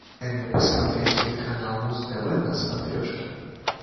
дай мне посмотреть телеканал муз тв на смотрешке